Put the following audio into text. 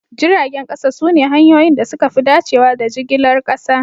Jiragen kasa sune hanyoyin da suka fi dacewa da jigilar kasa